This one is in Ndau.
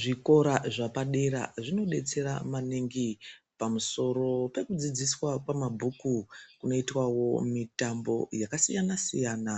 Zvikora zvapa dera zvino detsera maningi pamusoro peku dzidziswa kwe mabhuku kunoitwawo mitambo yaka siyana siyana